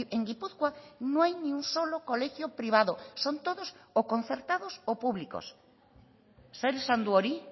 en gipuzkoa no hay ni un solo colegio privado son todos o concertados o públicos zer esan du hori